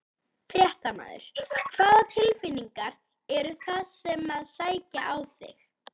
Fréttamaður: Hvaða tilfinningar eru það sem að sækja á þig?